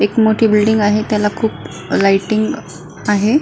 एक मोठी बिल्डिंग आहे त्याला खुप लायटिंग आहे.